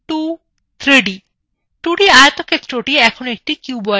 2d আয়তক্ষেত্রthe এখন একটি cuboid হয়ে গেছে